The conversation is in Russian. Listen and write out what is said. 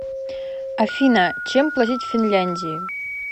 афина чем платить в финляндии